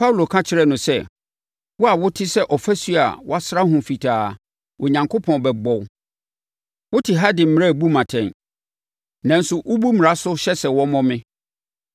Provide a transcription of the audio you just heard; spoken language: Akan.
Paulo ka kyerɛɛ no sɛ, “Wo a wote sɛ ɔfasuo a wɔasra ho fitaa, Onyankopɔn bɛbɔ wo. Wote ha de mmara rebu me atɛn, nanso wobu mmara no so hyɛ sɛ wɔmmɔ me!”